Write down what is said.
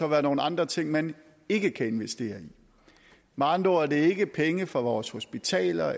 være nogle andre ting man ikke kan investere i med andre ord er det ikke penge fra vores hospitaler